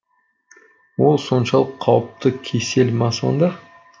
ол соншалық қауіпті кесел ма сонда